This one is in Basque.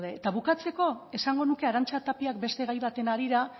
eta bukatzeko esango nuke arantza tapiak beste gai baten harira